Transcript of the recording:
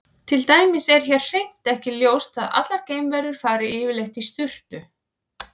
Til dæmis er hér hreint ekki ljóst að allar geimverur fari yfirleitt í sturtu.